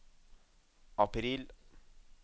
april